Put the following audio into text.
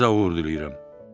Sizə uğur diləyirəm.